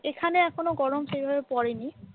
এখানে এখনো গরম সেইভাবে পড়েনি ।